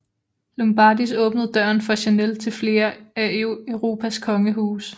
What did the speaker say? Lombardis åbnede døren for Chanel til flere af Europas kongehuse